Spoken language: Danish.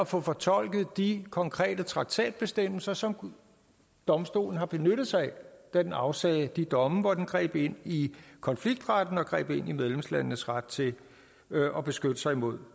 få fortolket de konkrete traktatbestemmelser som domstolen har benyttet sig af da den afsagde de domme hvor den greb ind i konfliktretten og greb ind i medlemslandenes ret til at beskytte sig imod